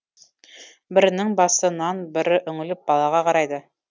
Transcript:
бірінің басы нан бірі үңіліп балаға қарайды